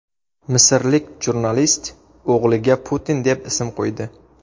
Misrlik jurnalist o‘g‘liga Putin deb ism qo‘ydi .